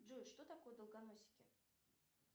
джой что такое долгоносики